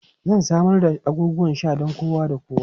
Zan samar da abubuwan sha don kowa da kowa.